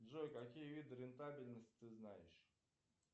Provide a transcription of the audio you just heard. джой какие виды рентабельности ты знаешь